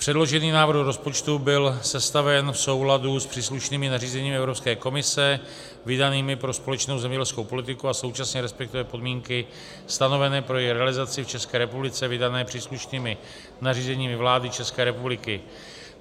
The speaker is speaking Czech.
Předložený návrh rozpočtu byl sestaven v souladu s příslušnými nařízeními Evropské komise vydanými pro společnou zemědělskou politiku a současně respektuje podmínky stanovené pro její realizaci v České republice vydané příslušnými nařízeními vlády České republiky.